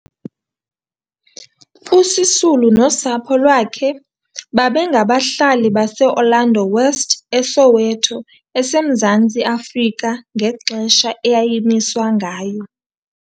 USisulu nosapho lwakhe babengabahlali baseOrlando West, eSoweto eseMzantsi Afrika ngexesha eyayimiswa ngayo.